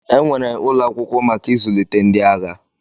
Enwere ụlọ akwụkwọ maka izụlite ndi agha.